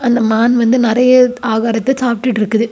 அந்தமான் வந்து நறைய ஆகாரத்த சாப்பிட்டுட்டுருக்குது.